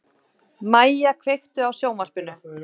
Mæja, kveiktu á sjónvarpinu.